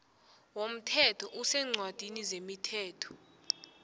womthetho oseencwadini zemithetho